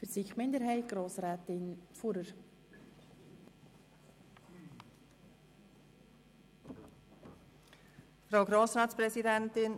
Für die Kommissionsminderheit hat Grossrätin Fuhrer das Wort.